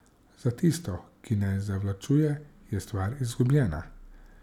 Za tisto, ki ne zavlačuje, je stvar izgubljena.